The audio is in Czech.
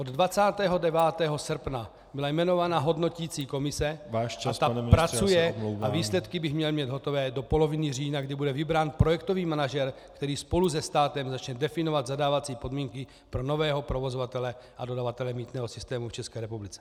Od 29. srpna byla jmenovaná hodnoticí komise a ta pracuje a výsledky bych měl mít hotové do poloviny října, kdy bude vybrán projektový manažer, který spolu se státem začne definovat zadávací podmínky pro nového provozovatele a dodavatele mýtného systému v České republice.